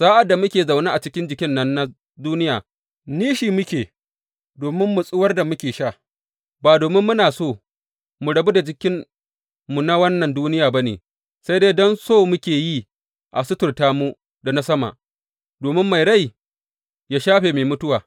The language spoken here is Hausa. Sa’ad da muke zaune a cikin jikin nan na duniya, nishi muke domin matsuwar da muke sha, ba domin muna so mu rabu da jikinmu na wannan duniya ba ne, sai dai don so muke yi a suturta mu da na Sama, domin mai rai ya shafe mai mutuwa.